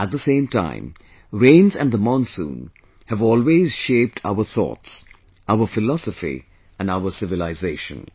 At the same time, rains and the monsoon have always shaped our thoughts, our philosophy and our civilization